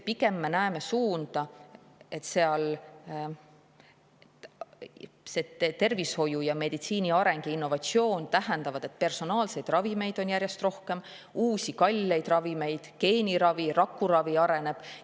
Pigem me näeme suunda, kus tervishoiu ja meditsiini areng ja innovatsioon tähendab seda, et personaalseid ravimeid, uusi kalleid ravimeid on järjest rohkem, geeniravi ja rakuravi areneb.